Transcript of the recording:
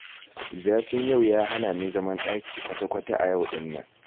Zafin yau ya hana ni zaman ɗaki kwata-kwata a yau ɗin nan